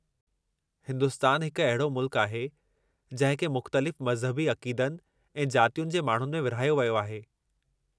हिन्दुस्तान हिकु अहिड़ो मुल्कु आहे जंहिं खे मुख़्तलिफ़ मज़हबी अक़ीदनि ऐं जातियुनि जे माण्हुनि में विरहायो वियो आहे।